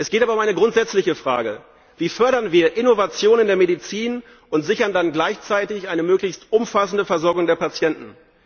Es geht aber um eine grundsätzliche Frage Wie fördern wir Innovation in der Medizin und sichern dann gleichzeitig eine möglichst umfassende Versorgung der Patienten?